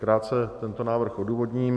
Krátce tento návrh odůvodním.